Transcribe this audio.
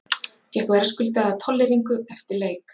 Fékk verðskuldaða tolleringu eftir leik.